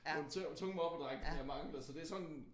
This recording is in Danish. Nogle tunge moppedrenge jeg mangler så det sådan